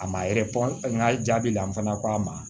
A ma yɛrɛ fɔ n ka jaabi la n fana ko a ma